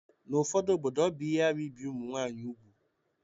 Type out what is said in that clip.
N'obodo ụfọdụ, ọ bụ ihe arụ ibi ụmụ nwaanyị úgwù